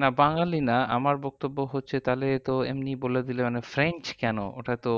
না বাঙালি না আমার বক্তব্য হচ্ছে তাহলে এমনি বলে দিলে মানে french কেন? ওটা তো